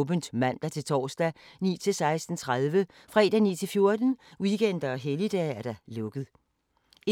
Information om TV 2's programmer: 65 91 12 44, hverdage 9-15.